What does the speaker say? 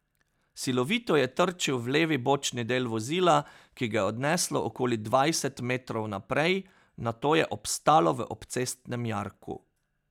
Silovito je trčil v levi bočni del vozila, ki ga je odneslo okoli dvajset metrov naprej, nato je obstalo v obcestnem jarku.